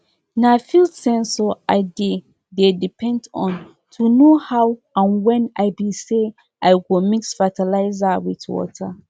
na field sensor i dey dey depend on to know how and when i be say i go mix fertilizer with water